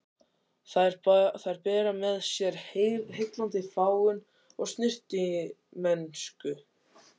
Þær bera með sér heillandi fágun og snyrtimennsku.